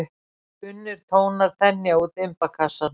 Kunnir tónar þenja út imbakassann.